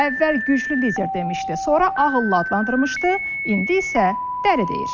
Əvvəl güclü lider demişdi, sonra ağıllı adlandırmışdı, indi isə dəli deyir.